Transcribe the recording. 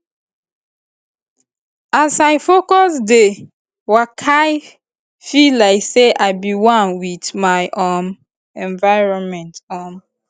as i focus dey wakai feel like say i be one with my um environment um